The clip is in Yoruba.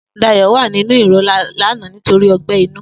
Dayo was in pain yesterday because of ulcer